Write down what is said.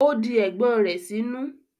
ó di ẹ̀gbọ́n rẹ̀ sínú.